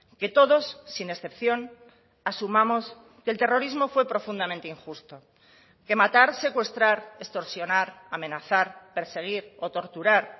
que todos sin excepción asumamos que el terrorismo fue profundamente injusto que matar secuestrar extorsionar amenazar perseguir o torturar